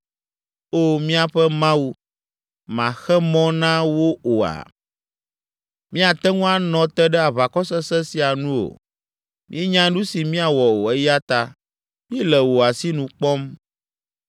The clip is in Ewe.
Oo míaƒe Mawu, màxe mɔ na wo oa? Míate ŋu anɔ te ɖe aʋakɔ sesẽ sia nu o. Míenya nu si míawɔ o eya ta míele wò asinu kpɔm.”